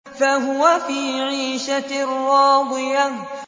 فَهُوَ فِي عِيشَةٍ رَّاضِيَةٍ